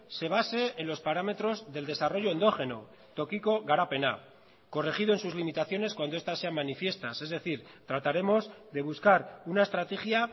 se base en los parámetros del desarrollo endógeno tokiko garapena corregido en sus limitaciones cuando estas sean manifiestas es decir trataremos de buscar una estrategia